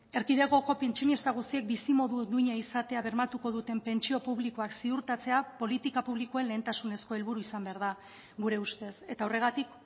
erkidegoko pentsionista guztiek bizimodu duina izatea bermatuko duten pentsio publikoak ziurtatzea politika publikoen lehentasunezko helburu izan behar da gure ustez eta horregatik